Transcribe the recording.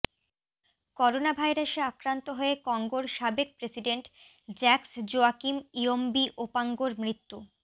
করোনাভাইরাসে আক্রান্ত হয়ে কঙ্গোর সাবেক প্রেসিডেন্ট জ্যাকস জোয়াকিম ইয়োম্বি ওপাঙ্গোর মৃত্যু